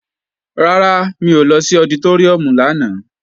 Rárá, mi ò lọ sí ọditóríùm lánàá